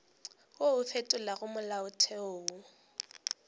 wo o fetolago molaotheo o